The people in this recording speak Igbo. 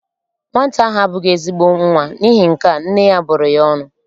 Nwata ahụ abụghị ezigbo nwa, n'ihi nkea, nne ya bụrụ ya ọnụ.